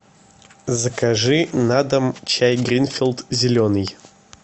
закажи на дом чай гринфилд зеленый